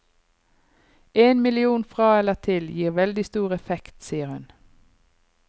En million fra eller til gir veldig stor effekt, sier hun.